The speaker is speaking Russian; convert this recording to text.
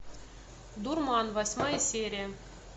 дурман восьмая серия